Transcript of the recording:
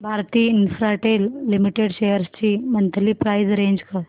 Bharti Infratel limited shares ची monthly price range